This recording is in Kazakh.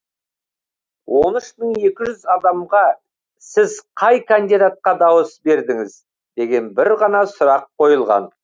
он үш мың екі жүз адамға сіз қай кандидатқа дауыс бердіңіз деген бір ғана сұрақ қойылған